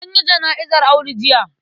An yi jana'izar Audu jiya.